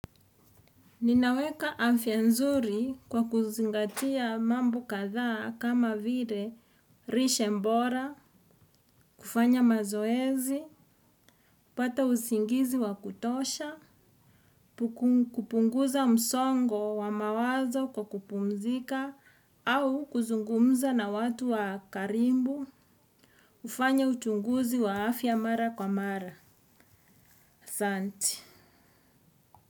Ninaweka afya nzuri kwa kuzingatia mambo kadhaa kama vire, rishe mbora, kufanya mazoezi, kupata usingizi wa kutosha, kupunguza msongo wa mawazo kwa kupumzika au kuzungumza na watu wa karibu kufanya uchunguzi wa afya mara kwa mara.